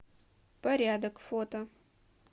порядок фото